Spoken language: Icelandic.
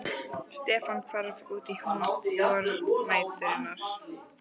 Stefán hvarf út í húm vornæturinnar.